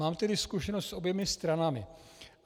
Mám tedy zkušenost s oběma stranami.